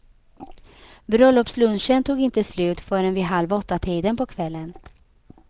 Bröllopslunchen tog inte slut förrän vid halv åttatiden på kvällen.